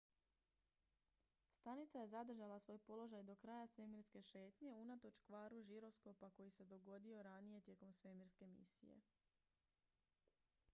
stanica je zadržala svoj položaj do kraja svemirske šetnje unatoč kvaru žiroskopa koji se dogodio ranije tijekom svemirske misije